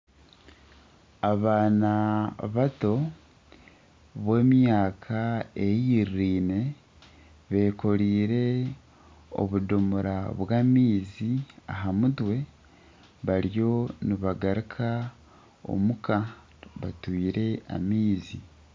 Abaana bato b'emyaka eiriraine bekoreire obudomora bw'amaizi aha mutwe bariyo nibagaruka omuka batwaire amaizi.